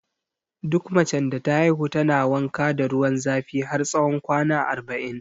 Duk macen da ta haihu tana wanka da ruwan zafi har tsawon kwana arba'in